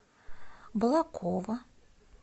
балаково